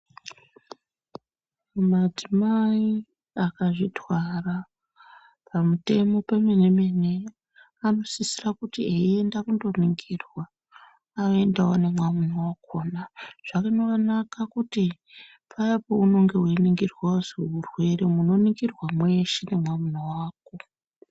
Madzimai akazvitwara pamutemo pemene-mene, anosisira kuti eienda kundoningirwa, aendewo nemwamuna wakona. Zvinonaka kuti paya peunonge weiningirwa kuzi murwere, munoningirwa mweshe nemwamuna wako.